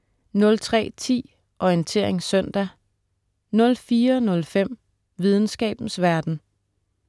03.10 Orientering søndag* 04.05 Videnskabens verden*